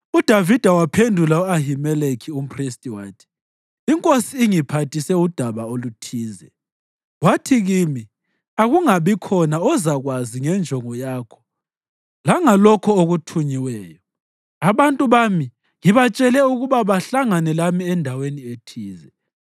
UDavida waphendula u-Ahimeleki umphristi wathi, “Inkosi ingiphathise udaba oluthize, wathi kimi, ‘Akungabikhona ozakwazi ngenjongo yakho langalokho okuthunyiweyo.’ Abantu bami ngibatshele ukuba bahlangane lami endaweni ethize.